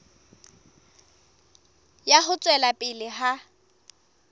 ya ho tswela pele ha